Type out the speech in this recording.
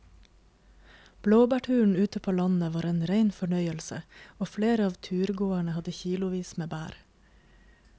Blåbærturen ute på landet var en rein fornøyelse og flere av turgåerene hadde kilosvis med bær.